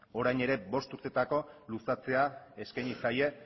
orain ere bost urtetarako luzatzea eskaini zaie